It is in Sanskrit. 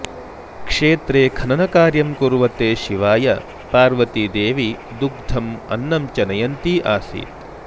क्षेत्रे खननकार्यं कुर्वते शिवाय पार्वतीदेवी दुग्धम् अन्नं च नयन्ती आसीत्